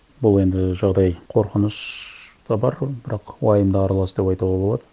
бұл енді жағдай қорқыныш та бар бірақ уайым да аралас деп айтуға болады